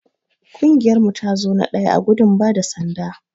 Kungiyar mu ta zo na daya ã gudun bada sanda.